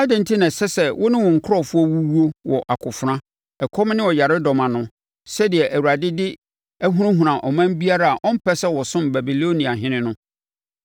Adɛn enti na ɛsɛ sɛ wo ne wo nkurɔfoɔ wuwuo wɔ akofena, ɛkɔm ne ɔyaredɔm ano, sɛdeɛ Awurade de ahunahuna ɔman biara a ɔmpɛ sɛ ɔsom Babiloniahene no?